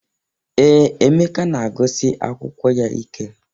Ee, Eemeka na-agụsi akwụkwọ ya ike.